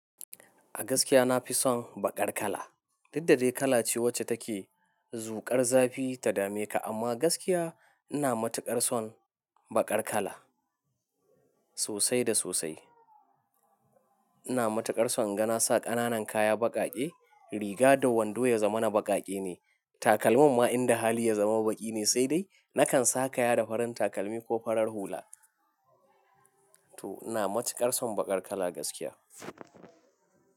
A gaskiya na fi son baƙar kala. Daddare kala ce wacce take zuƙar zafi ta dame ka, amma gaskiya ina matuƙar son baƙar kala sosai da sosai. Ina matuƙar son ganasa ƙananan kaya baƙaƙe, riga da wando ya zama na baƙaƙe ne. Takalman ma in da hali ya zama baƙi ne, sai dai nakan saka ya da farin takalmi ko farar hula. To ina matuƙar son baƙar kala gaskiya.